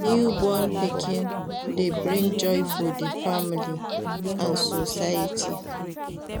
Newborn pikin de bring joy for di family and society